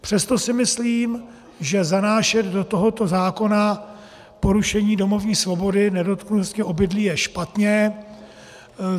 Přesto si myslím, že zanášet do tohoto zákona porušení domovní svobody, nedotknutelnosti obydlí, je špatně.